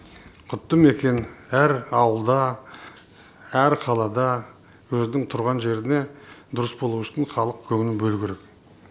құтты мекен әр ауылда әр қалада өзінің тұрған жеріне дұрыс болу үшін халық көңіл бөлу керек